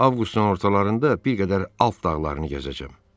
Avqustun ortalarında bir qədər alp dağlarını gəzəcəm.